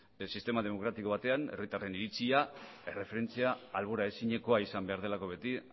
sistema demokratiko batean herritarren iritzia erreferentzia albora ezinekoa izan behar delako beti